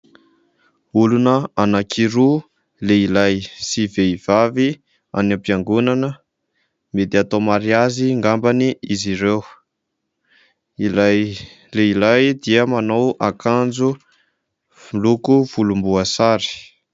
Olona anankiroa, lehilahy sy vehivavy any am-piangonana. Mety atao mariazy angamba izy ireo. Ilay lehilahy dia manao akanjo loko volomboasary.